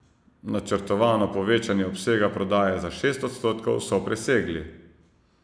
Načrtovano povečanje obsega prodaje za šest odstotkov so presegli.